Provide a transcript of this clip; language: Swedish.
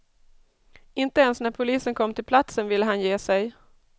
Inte ens när polisen kom till platsen ville han ge sig.